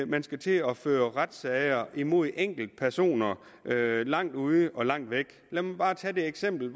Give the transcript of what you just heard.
man skal til at føre retssager mod enkeltpersoner langt ude og langt væk lad mig bare tage et eksempel